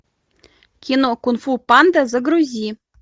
кино кунг фу панда загрузи